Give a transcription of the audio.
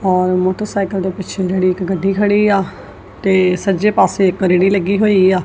ਔਰ ਮੋਟਰਸਾਈਕਲ ਦੇ ਪਿੱਛੇ ਜਿਹੜੀ ਇੱਕ ਗੱਡੀ ਖੜੀ ਆ ਤੇ ਸੱਜੇ ਪਾੱਸੇ ਇੱਕ ਰੇਹੜੀ ਲੱਗੀ ਹੋਈ ਆ।